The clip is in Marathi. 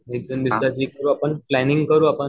एक दोन दिवसात करू आपण, प्लांनिंग करू आपण